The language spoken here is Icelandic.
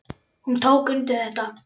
Hún tók undir þetta.